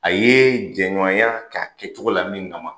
A ye jɛɲɔya ka kɛcogo la min kama